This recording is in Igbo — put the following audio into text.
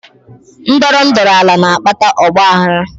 Ndọrọ ndọrọ ala na-akpata ọgbaaghara